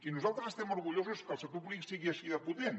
i nosaltres estem orgullosos que el sector públic sigui així de potent